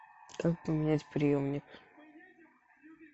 как поменять приемник